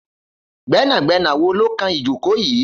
Gbẹnágbẹná wó ló kán ijókó yi?